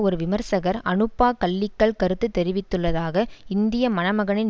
ஒரு விமர்சகர் அன்னுப்பா கலீக்கல் கருத்து தெரிவித்துள்ளதாக இந்திய மணமகனின்